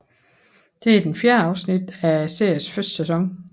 Det er det fjerde afsnit af seriens første sæson